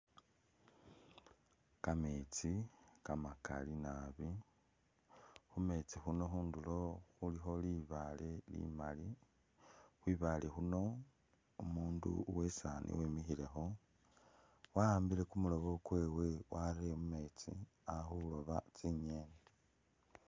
Kameetsi kamakali naabi, khumeetsi khuno khundulo khulikho libaale limali, khwi baale khuno umundu uwe i'saani wimikhilekho wa'ambile kumulobo kwewe warere mu meetsi ali khulooba tsingeni.